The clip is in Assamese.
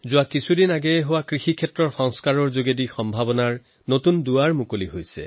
বিগত দিনবিলাকত হোৱা কৃষি সংস্কাৰসমূহে কৃষকৰ বাবে নতুন সম্ভাৱনাৰ দুৱাৰো মুকলি কৰিছে